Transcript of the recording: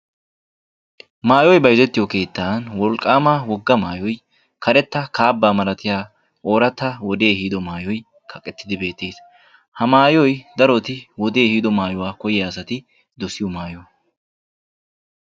Maayoy bayzettiyo keettani wolqqaama wogga maayoy karetta kaaba malattiya ooratta wodee ehiddo maayoy kaqqettidi beettees. Ha maayoy darotti wodde ehiddo maayuwaa koyiyaa asatti dossiyoo maayo.